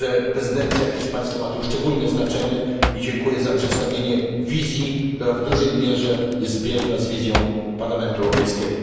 Prezydencja hiszpańska ma tu szczególne znaczenie i dziękuję za przedstawienie wizji, która w dużej mierze jest zbieżna z wizją Parlamentu Europejskiego.